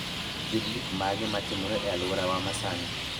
Gin gik mage matimore e alworawa masani?